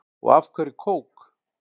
Og af hverju kók?